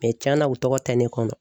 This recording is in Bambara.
cɛnna u tɔgɔ tɛ ne kɔnɔ.